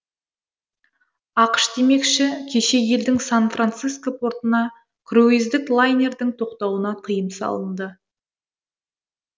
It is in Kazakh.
ақш демекші кеше елдің сан франциско портына круиздік лайнердің тоқтауына тыйым салынды